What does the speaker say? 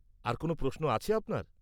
-আর কোন প্রশ্নও আছে আপনার?